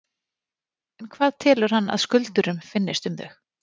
En hvað telur hann að skuldurum finnist um þau?